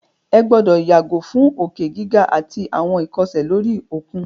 Ẹ gbọ́dọ̀ yàgò fún òkè gíga àtí àwọn ìkọsẹ̀ lóri òkun!